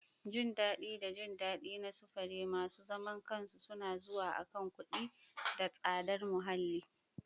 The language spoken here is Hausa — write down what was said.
Jin daɗi da jin daɗi na sufuri masu zaman kansu suna zuwa akan kuɗi da tsadar muhalli.